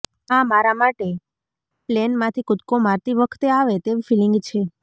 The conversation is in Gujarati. આ મારા માટે પ્લેનમાંથી કૂદકો મારતી વખતે આવે તેવી ફીલીંગ છે